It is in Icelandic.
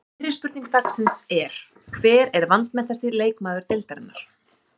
Fyrri spurning dagsins er: Hver er vanmetnasti leikmaður deildarinnar?